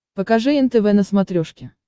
покажи нтв на смотрешке